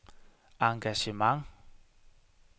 engagement